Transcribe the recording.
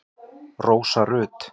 Rósa Rut.